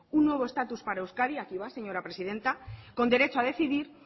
un nuevo estatus para euskadi aquí va señora presidenta con derecho a decidir